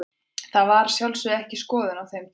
Þetta var að sjálfsögðu ekki skoðunin á þeim tíma.